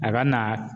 A ka na